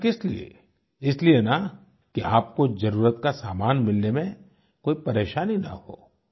आख़िर किसलिए इसलिए न कि आपको ज़रुरत का सामान मिलने में कोई परेशानी ना हो